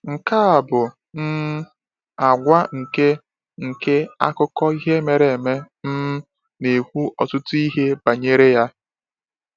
Nke a bụ um àgwà nke nke akụkọ ihe mere eme um na-ekwu ọtụtụ ihe banyere ya.